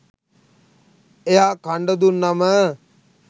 එයා කන්ඩ දුන්නම